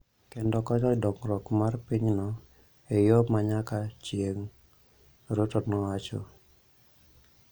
kendo konyo dongruok mar pinyno e yo ma nyaka chieng�, Ruto nowacho.